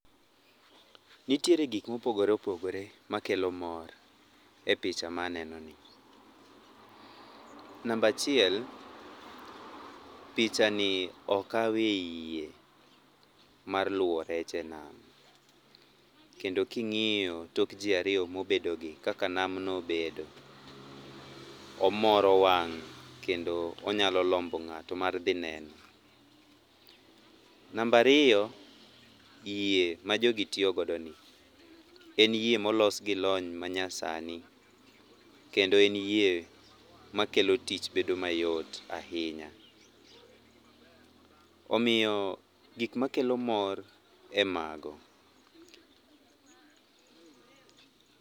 Nitiere gik mopogore opogore makelo mor epicha ma anenoni. Namba achiel pichani okawe yie mar luo rech enam. Kendo king'iyo tok ji ariyo mobedogi kaka namno obedo, omoro wang' kendo onyalo lombo ng'ato mar dhi neno. Namba ariyo, yie majogi tiyo godoni en yie molosgi lony manyasani kendo en yie makelo tich bedo mayot ahinya. Omiyo gik makelo mor e mago.